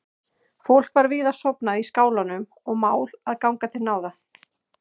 Fólk var víða sofnað í skálanum og mál að ganga til náða.